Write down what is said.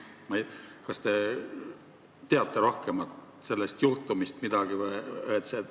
Kas te teate sellest juhtumist natuke rohkem?